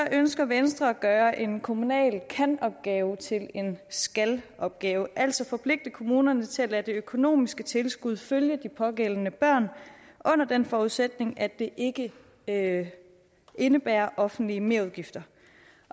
ønsker venstre at gøre en kommunal kan opgave til en skal opgave altså forpligte kommunerne til at lade det økonomiske tilskud følge de pågældende børn under den forudsætning at det ikke ikke indebærer offentlige merudgifter